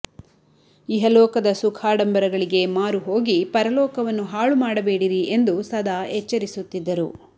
ಇಹಲೋಕದ ಸುಖಾಡಂಬರಗಳಿಗೆ ಮಾರು ಹೋಗಿ ಪರ ಲೋಕವನ್ನು ಹಾಳುಮಾಡಬೇಡಿರಿ ಎಂದು ಸದಾ ಎಚ್ಚರಿಸುತ್ತಿದ್ದರು